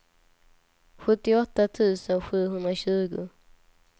sjuttioåtta tusen sjuhundratjugo